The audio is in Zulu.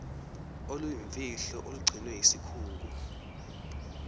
oluyimfihlo olugcinwe yisikhungo